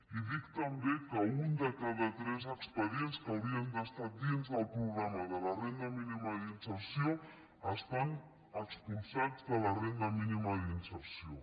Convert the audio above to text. i dic també que un de cada tres expedients que haurien d’estar dins del programa de la renda mínima d’inserció estan expulsats de la renda mínima d’inser·ció